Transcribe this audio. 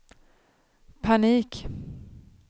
panik